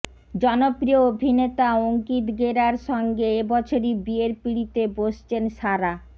জনপ্রিয় অভিনেতা অঙ্কিত গেরার সঙ্গে এবছরই বিয়ের পিঁড়িতে বসছেন সারা